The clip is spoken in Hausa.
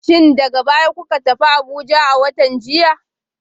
Shin daga baya kuka tafi Abuja a watan jiya?